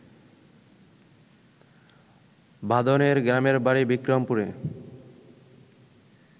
বাঁধনের গ্রামের বাড়ি বিক্রমপুরে